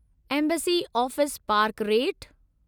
embassy office park rate